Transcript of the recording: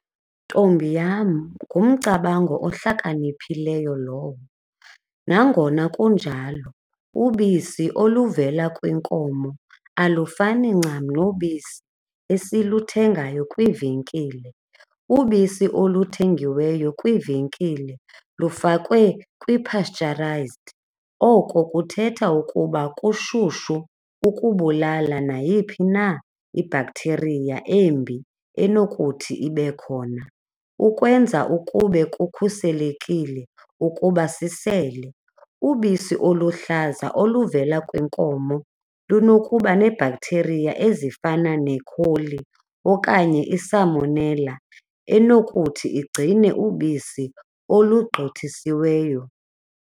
Ntombi yam, ngumcabango ohlakaniphileyo lowo. Nangona kunjalo ubisi oluvela kwinkomo alufani ncam nobisi esiluthengayo kwiivenkile. Ubisi oluthengiweyo kwiivenkile lufakwe kwi-pasteurized, oko kuthetha ukuba kushushu ukubulala nayiphi na i-bacteria embi enokuthi ibe khona, ukwenza ukube kukhuselekile ukuba sisele. Ubisi oluhlaza oluvela kwinkomo lunokuba nee-bacteria ezifana nekholi okanye isamonela enokuthi igcine ubisi olugqithisiweyo.